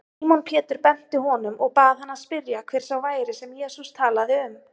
Símon Pétur benti honum og bað hann spyrja, hver sá væri, sem Jesús talaði um.